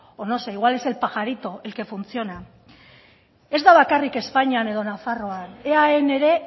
o no sé igual es el pajarito el que funciona ez da bakarrik espainian edo nafarroan eaen ere